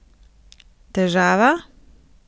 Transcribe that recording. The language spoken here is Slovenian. Težava?